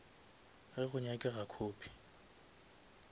ge go nyakega copy